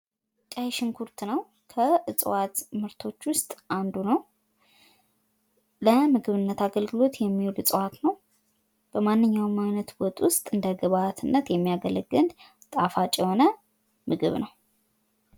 ቀይ ሽንኩርት ነው ከእፅዋት ምርቶች ውስጥ አንዱ ነው። ለምግብነት አገልግሎት የሚውል እፅዋት ነው። በማንኛውም ወጥ ውስጥ እንደግብአትነት የሚያገለግል ጣፋጭ የሆነ ምግብ ነው።